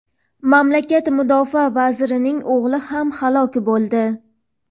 mamlakat Mudofaa vazirining o‘g‘li ham halok bo‘ldi.